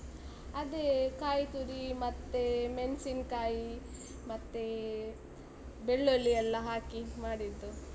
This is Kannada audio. ಅದೇ ಕಾಯಿ ತುರಿ, ಮತ್ತೆ ಮೆನ್ಸಿನ್ನ್ಕಾಯಿ, ಮತ್ತೇ ಬೆಳ್ಳುಳ್ಳಿ ಎಲ್ಲ ಹಾಕಿ ಮಾಡಿದ್ದು.